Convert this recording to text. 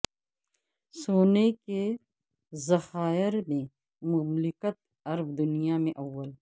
سونے کے ذخائر میں مملکت عرب دنیا میں اول